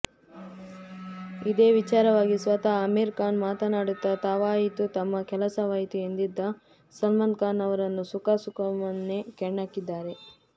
ಇದೇ ವಿಚಾರವಾಗಿ ಸ್ವತಃ ಅಮೀರ್ ಖಾನ್ ಮಾತನಾಡುತ್ತಾ ತಾವಾಯಿತು ತಮ್ಮ ಕೆಲಸವಾಯಿತು ಎಂದಿದ್ದ ಸಲ್ಮಾನ್ ಖಾನ್ ಅವರನ್ನು ಸುಖಾಸುಮ್ಮನೆ ಕೆಣಕಿದ್ದಾರೆ